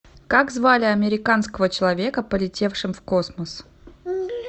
как звали американского человека полетевшим в космос